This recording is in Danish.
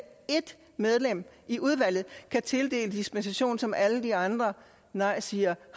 et medlem i udvalget kan tildele dispensation som alle andre nejsigere